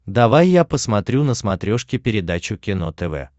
давай я посмотрю на смотрешке передачу кино тв